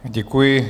Děkuji.